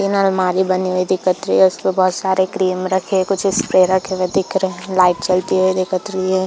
तीन आलमारी बनी हुई दिखत रही है उसपे बहुत सारे क्रीम रखे हुए कुछ स्प्रे रखे हुए दिख रहे है लाइट जलते हुए दिखत रही है।